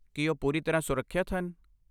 ਕੀ ਉਹ ਪੂਰੀ ਤਰ੍ਹਾਂ ਸੁਰੱਖਿਅਤ ਹਨ?